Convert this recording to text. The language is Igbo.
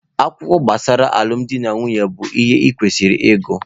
Akwụkwọ gbasara alụmdi na nwunye bụ ihe i kwesịrị ịgụ.